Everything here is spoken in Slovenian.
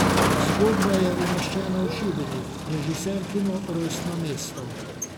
Zgodba je umeščena v Šibenik, režiserkino rojstno mesto.